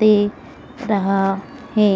दे रहा है।